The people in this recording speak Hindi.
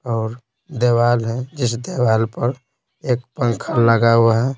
और दीवाल है जिस दवाल पर एक पंखा लगा हुआ है।